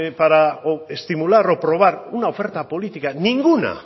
para estimular o probar una oferta política ninguna